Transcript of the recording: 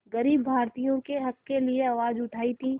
ग़रीब भारतीयों के हक़ के लिए आवाज़ उठाई थी